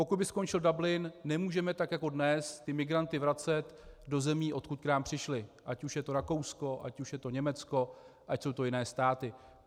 Pokud by skončil Dublin, nemůžeme tak jako dnes ty migranty vracet do zemí, odkud k nám přišli, ať už je to Rakousko, ať už je to Německo, ať jsou to jiné státy.